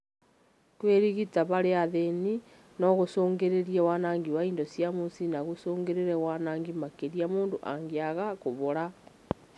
Kũĩrigita harĩ athĩni no gũcũngĩrĩrie wanangi wa indo cia mũciĩ na gũcũngĩrĩrie waanangi makĩria mũndũ angiaga kũhona